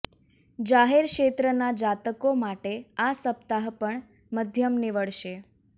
જાહેર ક્ષેત્રનાં જાતકો માટે આ સપ્તાહ પણ મધ્યમ નીવડશે